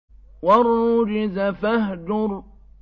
وَالرُّجْزَ فَاهْجُرْ